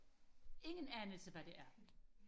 ingen anelse hvad det er